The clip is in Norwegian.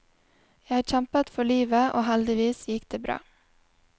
Jeg kjempet for livet, og heldigvis gikk det bra.